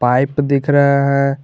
Pipe दिख रहा है।